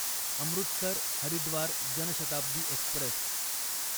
Amritsar Haridwar Janshatabdi Express